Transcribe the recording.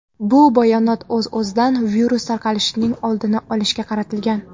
Bu bayonot, o‘z-o‘zidan, virus tarqalishining oldini olishga qaratilgan.